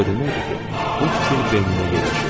Bu o deməkdir ki, bu fikir beyninə ilişib.